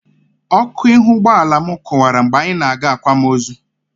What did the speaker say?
Ọkụ ihu ụgbọala m kụwara mgbe anyị na-aga akwamozu.